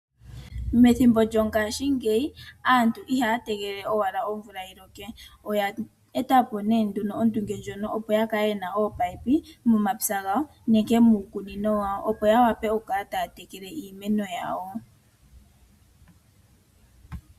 Methimbo lyongaashingeyi aantu ihaya tegelele owala omvula yiloke. Oya eta po ondunge opo ya kale yena oopayipi momapya gawo nenge miikunino yawo. Opo ya vule oku kala taya tekele iimeno yawo.